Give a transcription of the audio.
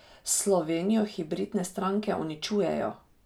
Slovenijo hibridne stranke uničujejo!